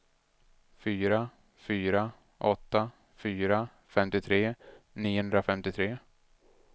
fyra fyra åtta fyra femtiotre niohundrafemtiotre